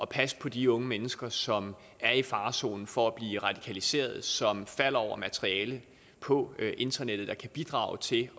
passe på de unge mennesker som er i farezonen for at blive radikaliseret og som falder over materiale på internettet der kan bidrage til